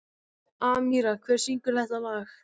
Amíra, hver syngur þetta lag?